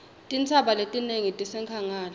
tintsaba letinengi tisenkhangala